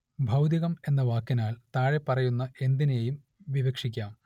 ഭൗതികം എന്ന വാക്കിനാൽ താഴെപ്പറയുന്ന എന്തിനേയും വിവക്ഷിക്കാം